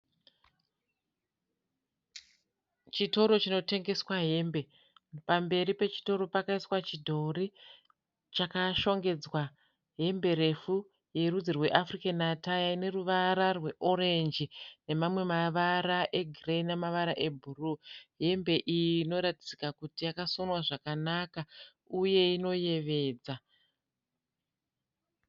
Chitoro chinotengeswa hembe. Pamberi pechitoro pakaiswa chidhori chakashongedzwa hembe refu yerudzi rwe 'African attire' ineruvara rweorenji nemamwe mavara egireyi namavara ebhuruu. Hembe iyi inoratidzika kuti yakasonwa zvakanaka uye inoyevedza.